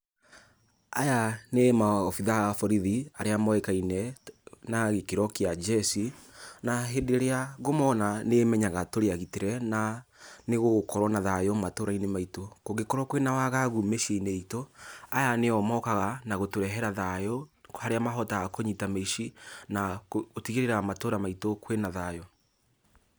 Aya nĩ maobitha a borithi arĩa moĩkaine na gĩkĩro kĩa njeci. Na hĩndĩ ĩrĩa ngũmona nĩmenyaga tũrĩ agitĩre na nĩgũgũkorwo na thayũ matũũra-inĩ maitũ. Kũngĩkorwo kwĩ na wagagu mĩciĩ-inĩ itũ, aya nĩo mokaga na gũtũrehera thayũ harĩa mahotaga kũnyita mĩici na gũtigĩrĩra matũũra maitũ kwĩna thayũ.